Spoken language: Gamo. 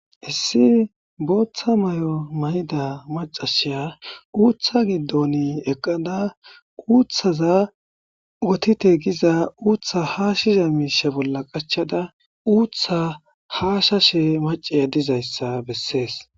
Issi boththa mayo mayidda maccasiya uutha giddon eqqada uuthaza wottete gizza uutha hashiza mishsha bolla qachchada uutha hashshashe macciya dizayisa besses.